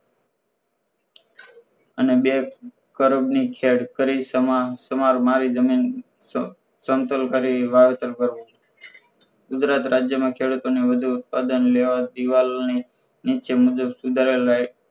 અને બે કરોડ ની ખેડ કરી સમાર સમાર મારી જમીન સમતોલ કરી વાવેતર કરવું. ગુજરાત રાજયમાં ખેડૂતો ને વધુ ઉત્પાદન લેવા દીવાલની નીચે મુજબ સુધારાલાયક